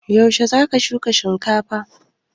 Yaushe za ka shuka shinkafan?